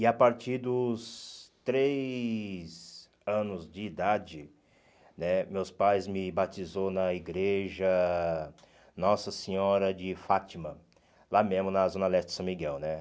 E a partir dos três anos de idade né, meus pais me batizou na igreja Nossa Senhora de Fátima, lá mesmo na zona leste de São Miguel, né?